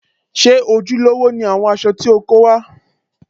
Ṣé ojúlówó ni àwọn aṣọ tí o kó wá?